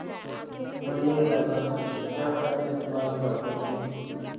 मुन्ने राजा क्या कहने तुम्हारी बातों के